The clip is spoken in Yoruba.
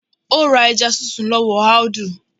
Ó ra ẹja sísun lọ́wọ́ Audu